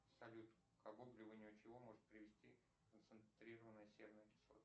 салют к обугливанию чего может привести концентрированная серная кислота